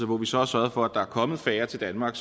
hvor vi så har sørget for at der er kommet færre til danmark